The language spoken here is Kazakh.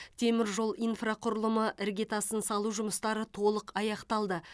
теміржол инфрақұрылымы іргетасын салу жұмыстары толық аяқталды